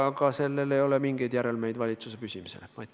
Aga sellel ei ole mingeid järelmeid valitsuse püsimise seisukohalt.